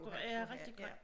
Ja rigtig grimt